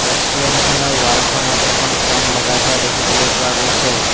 ৰেষ্টুৰেন্তখনৰ ৱালখনত এখন ফেন লগাই থোৱা দেখিবলৈ পোৱা গৈছে।